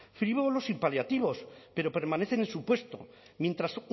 frívolos sin paliativos pero permanecen en su puesto mientras